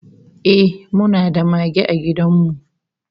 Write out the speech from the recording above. Ehh, muna da mage a gidan mu